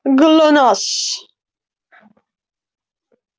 глонассс